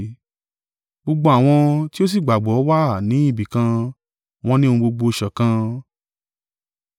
Gbogbo àwọn tí ó sì gbàgbọ́ wà ni ibìkan, wọn ní ohun gbogbo sọ́kàn;